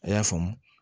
A y'a faamu